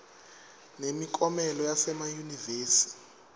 nemiklomelo yasema yunivesi